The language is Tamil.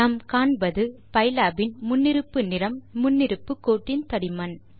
நாம் காண்பது பைலாப் இன் முன்னிருப்பு நிறம் முன்னிருப்பு கோட்டின் தடிமன்